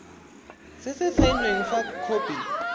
se se saenweng fa khopi